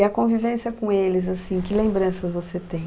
E a convivência com eles, assim, que lembranças você tem?